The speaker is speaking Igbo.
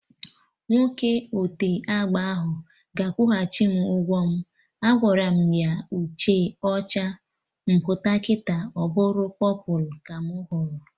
Nwoke ote agba ahụ ga-akwuchim ụgwọ m! Agwaram ya uhie ọcha, m pụta kịta ọbụrụ pọpụlụ ka mụ hụrụ